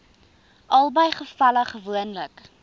albei gevalle gewoonlik